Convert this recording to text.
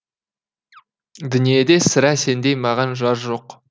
дүниеде сірә сендей маған жар жоқ